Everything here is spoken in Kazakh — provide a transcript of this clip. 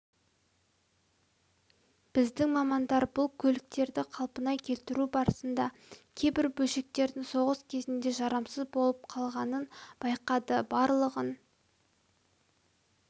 біздің мамандар бұл көліктерді қалпына келтіру барысында кейбір бөлшектердің соғыс кезінде жарамсыз болып қалғанын байқады барлығын